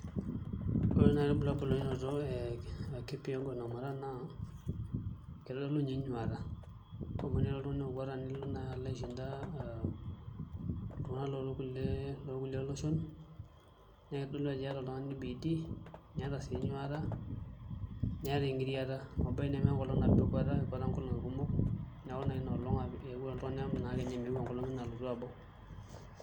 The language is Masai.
Ore nai ilbulabul oinoto kipyegon o moraa naa kitodolu ninye enyuata amu tenilo naa oltungani akweta Nilo nai aishida aa iltungana lookupie loshon naa kitodolu Ajo iyata bidii niyata sii enyuata niyata engirriata amu ebaiki nemenkolong nabo ekweta ekweta nkolongi kumok neeku inoolong naa eewuo oltungani emeu enkolong enye alotu abau.